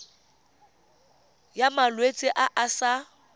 ya malwetse a a sa